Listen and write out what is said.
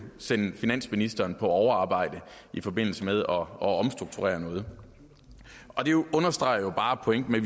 sende finansministeren på overarbejde i forbindelse med at omstrukturere noget det understreger jo bare pointen med